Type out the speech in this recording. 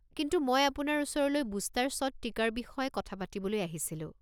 কিন্তু মই আপোনাৰ ওচৰলৈ বুষ্টাৰ শ্বট টিকাৰ বিষয়ে কথা পাতিবলৈ আহিছিলোঁ।